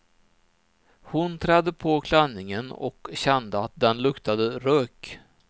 Hon trädde på klänningen och kände att den luktade rök.